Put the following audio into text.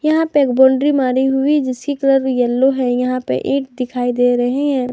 यहां पे एक बाउंड्री मारी हुई जिसकी कलर येलो हैं यहां पे ईंट दिखाई दे रहे हैं।